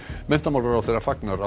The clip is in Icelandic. menntamálaráðherra fagnar